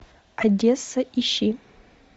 одесса ищи